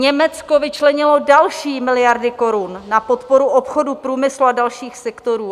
Německo vyčlenilo další miliardy korun na podporu obchodu, průmyslu a dalších sektorů.